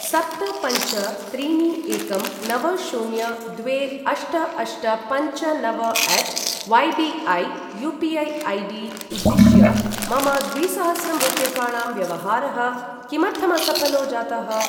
सप्त पञ्च त्रीणि एकं नव शून्य द्वे अष्ट अष्ट पञ्च नव at Y B I UPI. ID. उद्दिश्य मम द्विसहस्रं रूप्यकाणां व्यवहारः किमर्थमसफलो जातः?